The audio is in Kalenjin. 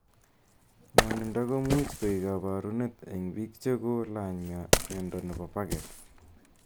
Ng'onindo komuuch koek kabarunet eng biik cheki ko lany'miondo nepo pagets.